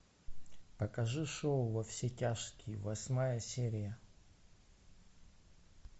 покажи шоу во все тяжкие восьмая серия